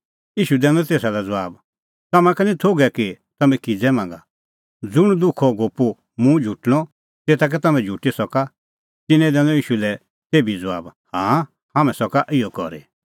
ईशू दैनअ तेसा लै ज़बाब तम्हां का निं थोघै कि तम्हैं किज़ै मांगा ज़ुंण दुखो कटोरअ मुंह झुटणअ तेता कै तम्हैं झुटी सका तिन्नैं दैनअ ईशू लै तेभी ज़बाब हाँ हाम्हैं सका इहअ करी